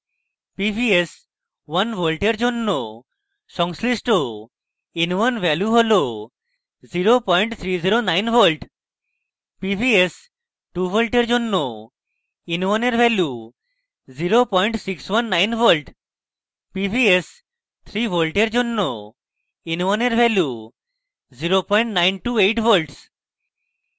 pvs = 1 volt for জন্য সংশ্লিষ্ট in1 value হল 0309 volt